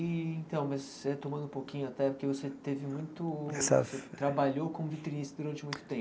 E então, mas retomando um pouquinho até, porque você teve muito... Trabalhou como vitrinista durante muito